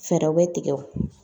Fɛɛrɛw bɛ tigɛ o